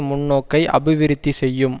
முன்னோக்கை அபிவிருத்தி செய்யும்